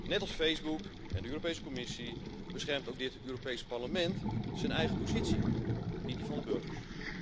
Net als Facebook en de Europese Commissie beschermt ook dit Europees Parlement zijn eigen positie, niet die van de burgers.